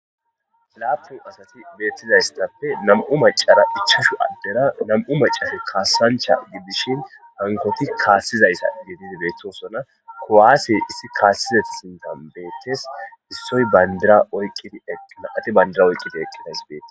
Lappu asati betizaysa nam'u mascara ichachchu ade nam'u macati kasancha gidishin ankoyti kasizayta gididi betosona kuwase issi kasizaysi betes issay bandira oykides eqidas betes nam'ati bandira oyqidi eqidaysi betes.